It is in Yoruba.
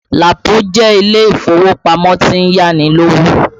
Lapo jẹ́ ilé ìfowópamọ́ tó ń yá ni lówó